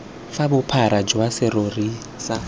fa bophara jwa serori sa